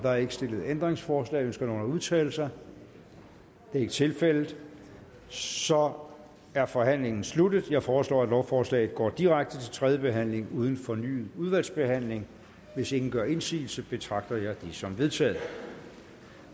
er ikke stillet ændringsforslag ønsker nogen at udtale sig det er ikke tilfældet så er forhandlingen sluttet jeg foreslår at lovforslaget går direkte til tredje behandling uden fornyet udvalgsbehandling hvis ingen gør indsigelse betragter jeg det som vedtaget